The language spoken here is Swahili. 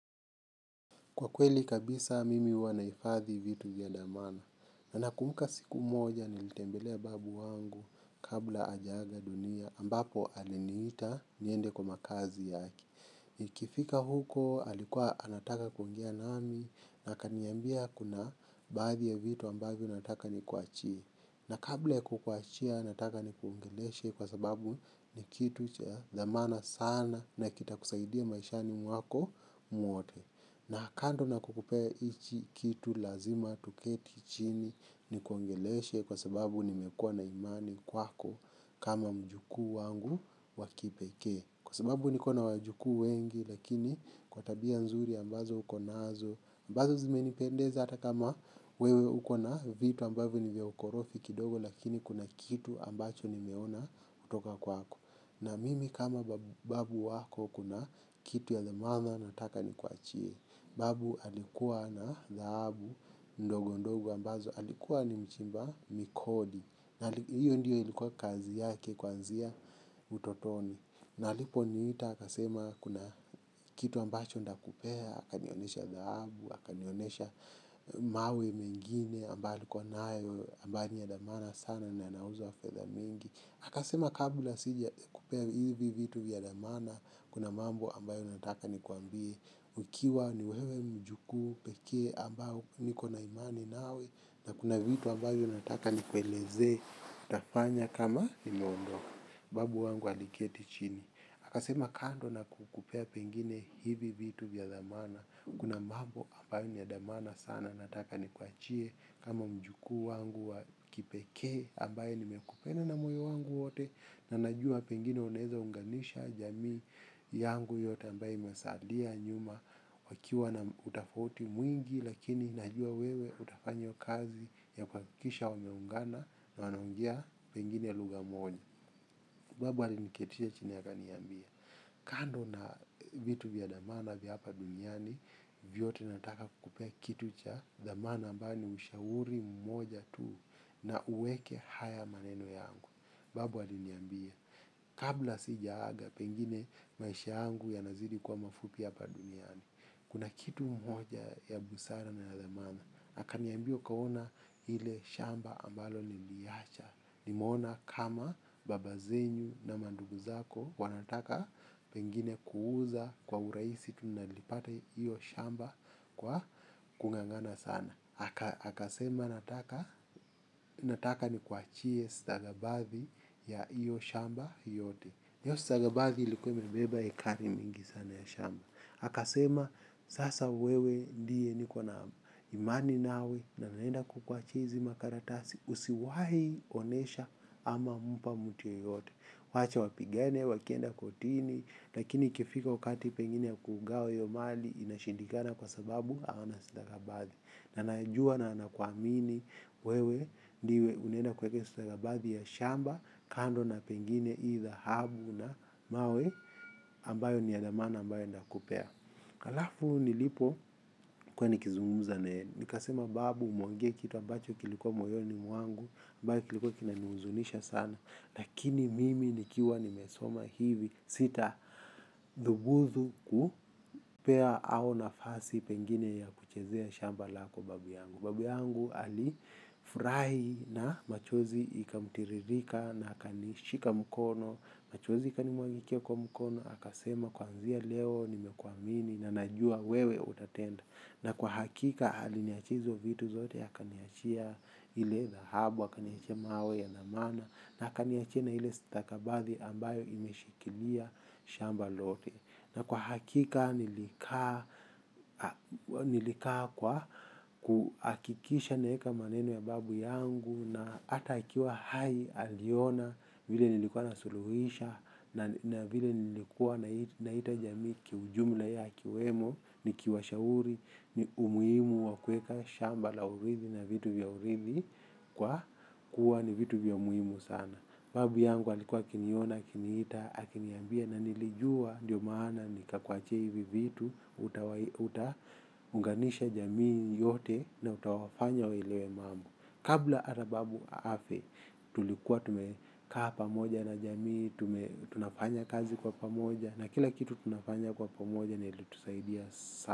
Kwa kweli kabisa mimi huwa nahifadhi vitu vya thamana. Na nakumuka siku moja nilitembelea babu wangu kabla hajaaga dunia ambapo aleniita niende kwa makazi yake. Nikifika huko alikuwa anataka kuongea nami na akaniambia kuna baadhi ya vitu ambavyo nataka nikuachie. Na kabla kukuachia nataka nikuongeleshe kwa sababu ni kitu cha thamana sana na kitakusaidia maishani mwako mwote. Na kando na kukupea hichi kitu lazima tuketi chini nikuongeleshe kwa sababu nimekuwa na imani kwako kama mjukuu wangu wa kipekee. Kwa sababu niko na wajukuu wengi lakini kwa tabia nzuri ambazo uko nazo. Ambazo zimenipendeza hata kama wewe uko na vitu ambazo ni vya ukorofi kidogo lakini kuna kitu ambacho nimeona kutoka kwako. Na mimi kama babu wako kuna kitu ya thamana nataka nikuachie. Babu alikuwa na thahabu ndogo ndogo ambazo. Alikuwa ni mchimba migodi. Hiyo ndio ilikuwa kazi yake kuanzia utotoni. Na alipo niita akasema kuna kitu ambacho nitakupea, akanionyesha dhahabu, akanionesha mawe mengine ambayo alikuwa nayo, ambayo ni ya dhamana sana ni yanauzwa fedha mingi. Aka sema kabla sijakupea hivi vitu vya dhamana, kuna mambo ambayo nataka nikuambie, ukiwa ni wewe mjukuu, pekee ambao nikona imani nawe, na kuna vitu ambayo nataka nikuelezee, utafanya kama nimeondoka babu wangu aliketi chini, akasema kando na kukupea pengine hivi vitu vya thamana, kuna mambo ambayo ni thamana sana nataka nikuachie kama mjukuu wangu wa kipekee ambaye nimekupenda na moyo wangu wote na najua pengine unaeza unganisha jamii yangu yote ambayo imesalia nyuma wakiwa na utofauti mwingi lakini najua wewe utafanya kazi ya kuhakikisha wameungana na wanaongea pengine lugha moja. Babu aliniketisha chini akaniambia. Kando na vitu vya thamana vya hapa duniani, vyote nataka kupea kitu cha thamana ambayo ni ushauri mmoja tu na uweke haya maneno yangu. Babu aliniambia. Kabla sijaaga pengine maisha yangu yanazidi kuwa mafupi hapa duniani. Kuna kitu moja ya busara na ya thamana akaniambia kwamba unaona hile shamba ambalo niliacha nimeona kama baba zenyu na mandugu zako wanataka pengine kuuza kwa urahisi tu nilipata hiyo shamba kwa kungangana sana akasema nataka nikuachie stakabathi za hiyo shamba yote hiyo stakabathi ilikuwa imebeba ekari mingi sana ya shamba akasema sasa wewe ndiye niko nawe amani nawe na naenda kukuachia hizi makaratasi usiwahi kuonyesha ama mpa mtu yeyote wacha wapigane wakienda kortini lakini ikifika wakati pengine ya kugawa hio mali inshindikana kwa sababu hawana stakabathi na najua nakuamini wewe ndiwe unenda kuweka hii stakabathi ya shamba kando na pengine hii dhahabu na mawe ambayo ni ya thamana ambayo nimekupea. Alafu nilipokua nikizungumza naye nikasema babu umeongea kitu ambacho kilikuwa moyoni mwangu ambayo kiliko kinanihuzunisha sana. Lakini mimi nikiwa nimesoma hivi sita dhubutu kupea au nafasi pengine ya kuchezea shamba lako babu yangu. Babu yangu alifurahi na machozi ikamtiririka na akanishika mkono. Machozi ikanimwagikia kwa mkono akasema kuanzia leo nimekuamini na najua wewe utatenda. Na kwa hakika aliniachia hizo vitu zote ya akaniachia hile dhahabu, akaniachia mawe ya thamana na akaniachia na hile stakabathi ambayo imeshikilia shamba lote. Na kwa hakika nilikaa nilikaa kwa kuhakikisha naeka maneno ya babu yangu na hata akiwa hai alikua anaona vile nasuluhisha mambo na vile nilikuwa naita jamii kiujumla yeye akiwemo nikiwashauri ni umuhimu wa kueka shamba la urithi na vitu vya urithi kwa kuwa ni vitu vya umuhimu sana. Babu yangu alikua akinion akiniita ananiambia na nilijua ndio maana nikakuachia hivi vitu utaiunganisha jamii yote na utawafanya waelewe mambo kabla hata babu afe, tulikuwa tumekaa pamoja na jamii, tunafanya kazi kwa pamoja na kila kitu tunafanya kwa pamoja na ilitusaidia sana.